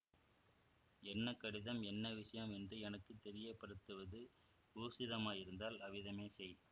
என்ன கடிதம் என்ன விஷயம் என்று எனக்கு தெரியப்படுத்துவது ஊசிதமாயிருந்தால் அவ்விதமே செய்